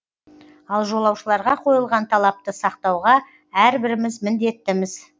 ал жолаушыларға қойылған талапты сақтауға әрбіріміз міндеттіміз